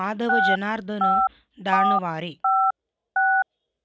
Madhava Janardana दानवारे